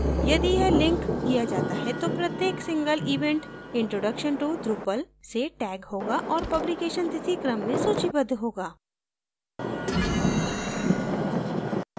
यदि यह link clicked किया जाता है तो प्रत्येक single event introduction to drupal से टैग होगा और publication तिथि क्रम में सूचीबद्ध होगा